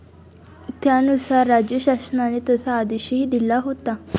त्यानुसार राज्यशासनाने तसा आदेशही दिला होता.